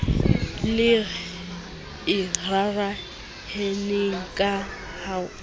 le e raraheneng ka ho